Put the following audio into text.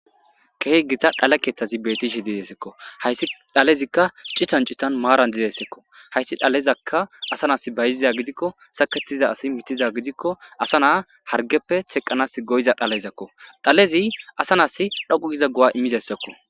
Keehe gita dhalekethazi beetishe dizesekko hayssi dhalezikka cihancitan maaran dizesekko hayssi dhalezakka asanas bayiziza gidikko saketiza asi mitiza gidikko asa naa hargeppe teqqanas goyiza dhalezakko dhalezi asanas dhoqu giza go7a immizessakko.